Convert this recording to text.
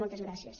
moltes gràcies